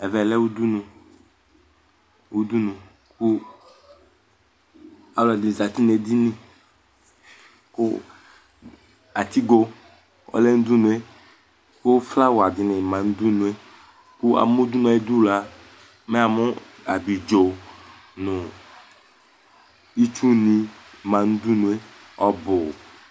Ɛvɛ lɛ udunu kʋ alʋ ɛdɩnɩ zǝtɩ nʋ edini Kʋ atigo ɔlɛ nʋ udunu yɛ Kʋ flawa dɩnɩ ma nʋ udunu yɛ Amʋ udunu yɛ ayʋ ɩdʋ, me amʋ abidzo, itsu nɩ ma nʋ udunu yɛ ɔbʋ